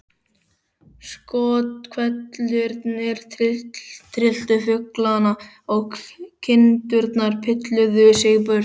Skothvellirnir trylltu fuglana og kindurnar pilluðu sig burtu.